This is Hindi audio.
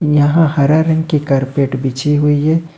यहां हरा रंग के कारपेट बिछी हुई है।